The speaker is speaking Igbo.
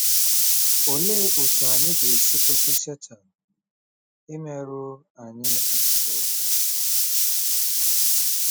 Olee otú anyị ga-esi kwụsị Setan imerụ anyị ahụ́?